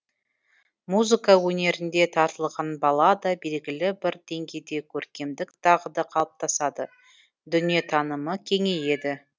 музыка өнеріне тартылған балада белгілі бір деңгейде көркемдік дағды қалыптасады дүниетанымы кеңейеді